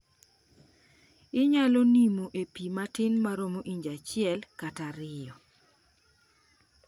inyalo nimo e pi matin maro inji achiel kata ario